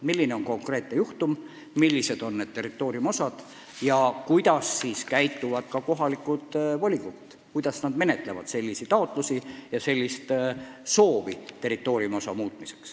Kõik oleneb konkreetsest juhtumist, millised on territooriumiosad ja kuidas käituvad kohalikud volikogud, kuidas nad menetlevad selliseid taotlusi.